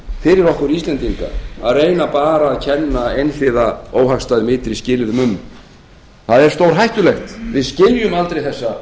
fyrir okkur íslendinga að reyna bara að kenna óhagstæðum ytri skilyrðum um það er stórhættulegt við skiljum aldrei þessa hluti